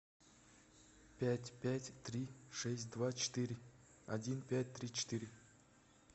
пять пять три шесть два четыре один пять три четыре